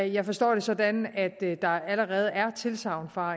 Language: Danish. jeg forstår det sådan at der allerede er tilsagn fra